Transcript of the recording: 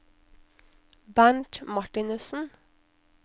Bernt Martinussen